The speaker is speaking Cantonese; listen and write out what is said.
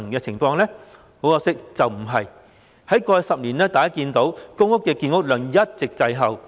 大家可以看到，在過去10年，公屋的建屋量一直滯後。